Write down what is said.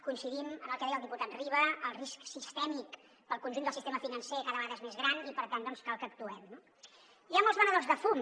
coincidim amb el que deia el diputat riba el risc sistèmic per al conjunt del sistema financer cada vegada és més gran i per tant doncs cal que actuem no hi ha molts venedors de fum